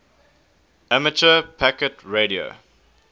amateur packet radio